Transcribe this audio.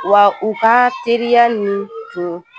Wa u ka teriya nin tun